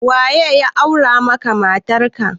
Waye ya aura maka matarka?